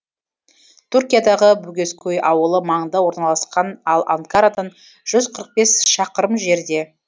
туркиядағы богезкөй ауылы маңында орналасқан ал анкарадан жүз қырық бес шақырым жерде